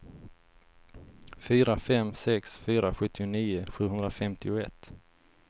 fyra fem sex fyra sjuttionio sjuhundrafemtioett